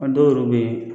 A dɔw yɛrɛ bɛ ye